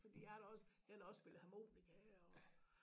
Fordi jeg har da også jeg har da også spillet harmonika og